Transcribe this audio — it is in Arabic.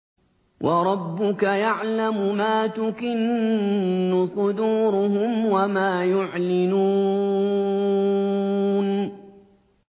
وَرَبُّكَ يَعْلَمُ مَا تُكِنُّ صُدُورُهُمْ وَمَا يُعْلِنُونَ